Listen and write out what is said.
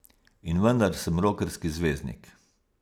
In vendar sem rokerski zvezdnik.